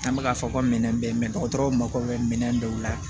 An bɛ k'a fɔ ko minɛn bɛ yen dɔgɔtɔrɔw mako bɛ minɛn dɔw la